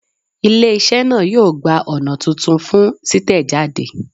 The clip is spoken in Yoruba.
Ile-iṣẹ naa yoo gba ọna tuntun fun titẹjade